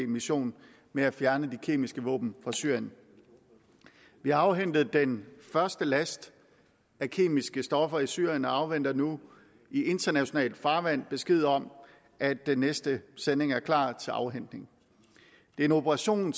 mission med at fjerne de kemiske våben fra syrien vi har afhentet den første last af kemiske stoffer fra syrien og afventer nu i internationalt farvand besked om at den næste sending er klar til afhentning det er en operation